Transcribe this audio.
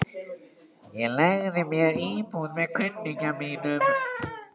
Ég leigði mér íbúð með kunningja mínum.